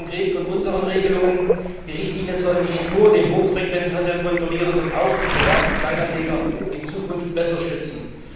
Was hat er konkret von unseren Regelungen? Die Richtlinie soll nicht nur den Hochfrequenzhandel kontrollieren, sondern auch die privaten Kleinanleger in Zukunft besser schützen.